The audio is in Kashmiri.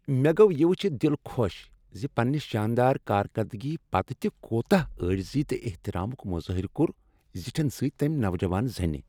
مےٚ گوٚو یہ ؤچھتھ دل خۄش ز پنٛنہ شاندار کارکردگی پتہٕ تہ کوتاہ عاجزی تہٕ احترامک اظہار کوٚر زٹھین سۭتۍ تمہ نوجوان زنہ۔